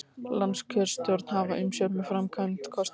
Landskjörstjórn hafði umsjón með framkvæmd kosninganna